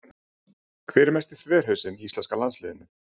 Hver er mesti þverhausinn í íslenska landsliðinu?